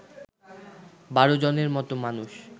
১২ জনের মত মানুষ